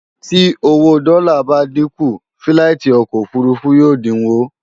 Tí owó dọ́là bá dínkù, fíláìtí ọkọ̀ òfurufú yóò dínwó